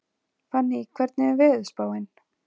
Fanný, hvernig er veðurspáin?